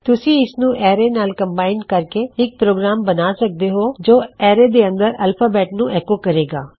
ਤੁਸੀਂ ਇਸਨੂੰ ਐਰੇ ਨਾਲ ਕੰਮਬਾਇਨ ਕਰਕੇ ਇੱਕ ਪ੍ਰੋਗਰਾਮ ਬਣਾ ਸਕਦੇ ਹੋਂ ਜੋ ਐਰੇ ਦੇ ਅੰਦਰ ਐਲਫ਼ਾਬੈੱਟ ਨੂੰ ਐੱਕੋ ਕਰੇਗਾ